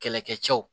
Kɛlɛkɛcɛw